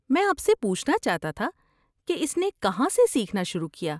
میں آپ سے پوچھنا چاہتا تھا کہ اس نے کہاں سے سیکھنا شروع کیا؟